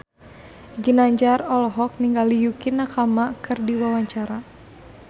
Ginanjar olohok ningali Yukie Nakama keur diwawancara